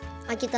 að geta